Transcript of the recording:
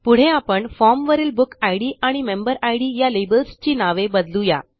पुढे आपण फॉर्म वरील बुकिड आणि मेंबेरिड या लेबल्सची नावे बदलू या